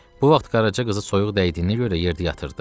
Bu vaxt Qaraca qızı soyuq dəydiyinə görə yerdə yatırdı.